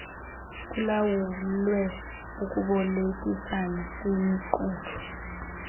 kulawulwe ukubolekisana kwimiqulu